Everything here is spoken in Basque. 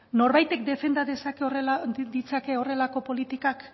norbaitek defenda ditzake horrelako politikak